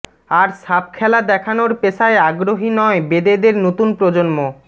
আর সাপ খেলা দেখানোর পেশায় আগ্রহী নয় বেদেদের নতুন প্রজন্ম